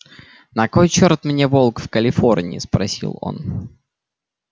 на кой черт мне волк в калифорнии спросил он